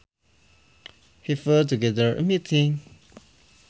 He put together a meeting